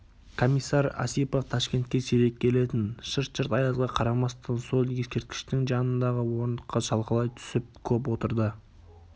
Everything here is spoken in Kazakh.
комиссар осипов ташкентке сирек келетін шырт-шырт аязға қарамастан сол ескерткіштің жанындағы орындыққа шалқалай түсіп көп отырды